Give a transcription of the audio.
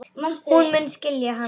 Hún mun skilja hana seinna.